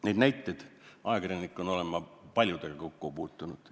Neid näiteid on, ajakirjanikuna olen ma paljude sellistega kokku puutunud.